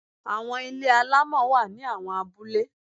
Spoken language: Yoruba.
Àwọn ilé alámọ̀ wá ní àwọn abúlé.